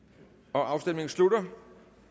afstemningen slutter